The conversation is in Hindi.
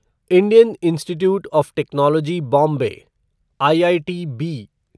Indian Institute of Technology Bombay IITB